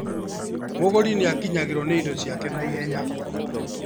Mũgũri nĩakinyagĩrwo nĩ indo ciake naihenya